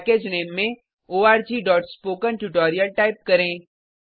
package नामे में orgस्पोकेंट्यूटोरियल टाइप करें